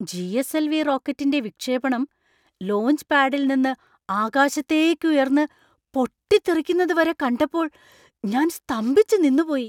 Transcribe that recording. GSL. V. റോക്കറ്റിന്‍റെ വിക്ഷേപണം ലോഞ്ച്പാഡിൽ നിന്ന് ആകാശത്തേക്ക് ഉയർന്ന് പൊട്ടിത്തെറിക്കുന്നത് വരെ കണ്ടപ്പോൾ ഞാൻ സ്തംഭിച്ചു നിന്നുപോയി .